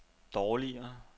dårligere